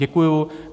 Děkuji.